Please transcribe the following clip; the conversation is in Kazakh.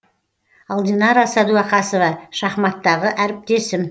ал динара сәдуақасова шахматтағы әріптесім